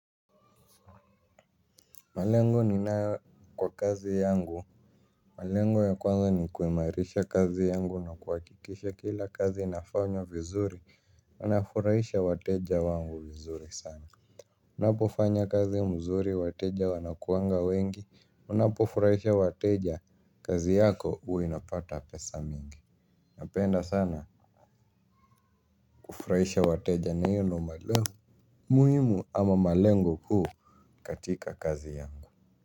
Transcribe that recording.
Malengo ninayo kwa kazi yangu malengo ya kwanza ni kuimarisha kazi yangu na kuhakikisha kila kazi naifanya vizuri ina furahisha wateja wangu vizuri sana. Unapofanya kazi mzuri wateja wanakuwanga wengi unapofurahisha wateja kazi yako huwa inapata pesa mingi. Napenda sana kufurahisha wateja na hiyo ndio malengo. Muhimu ama malengo huu katika kazi yangu.